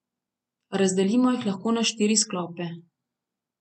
Razdelimo jih lahko na štiri sklope.